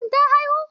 Shin ta haihu?